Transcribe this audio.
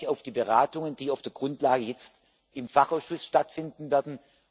Ich freue mich auf die Beratungen, die auf der Grundlage jetzt im Fachausschuss stattfinden werden.